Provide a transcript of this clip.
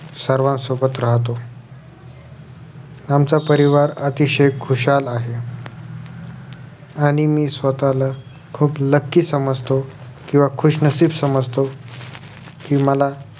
सर्वांसोबत राहतो आमचा परिवार अतिशय खुशाल आहे आणि मी स्वतःला खुप lucky समजतो किंवा खुशनशिब समजतो कि मला